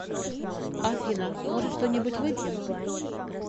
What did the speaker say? афина может что нибудь выпьем